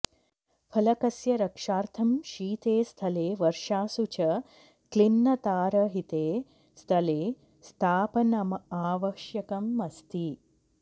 फलकस्य रक्षार्थं शीते स्थले वर्षासु च क्लिन्नतारहिते स्थले स्थापनमावश्यकमस्ति